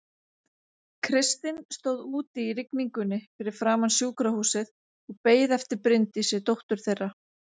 Kristinn stóð úti í rigningunni fyrir framan sjúkrahúsið og beið eftir Bryndísi dóttur þeirra.